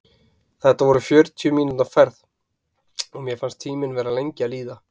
Þetta var fjörutíu mínútna ferð, og mér fannst tíminn vera lengi að líða.